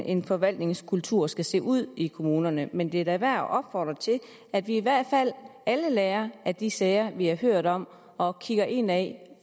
en forvaltningskultur skal se ud i kommunerne men det er værd at opfordre til at vi i hvert fald alle lærer af de sager vi har hørt om og kigger indad